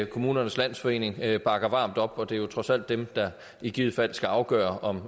kommunernes landsforening bakker varmt op og det er jo trods alt dem der i givet fald skal afgøre om